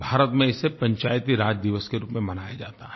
भारत में इसे पंचायती राज दिवस के रूप में मनाया जाता है